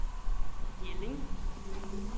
Jelling